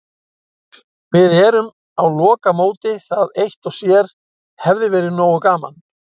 Við erum á lokamóti, það eitt og sér hefði verið nógu gaman.